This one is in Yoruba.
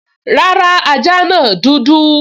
Rárá, ajá náà dúdú